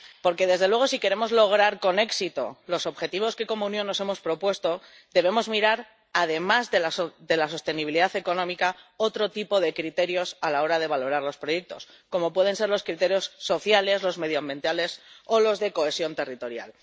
Porque desde luego si queremos lograr con éxito los objetivos que como Unión nos hemos propuesto, debemos mirar además de la sostenibilidad económica otro tipo de criterios a la hora de valorar los proyectos, como pueden ser los criterios sociales, los medioambientales o los de cohesión territorial.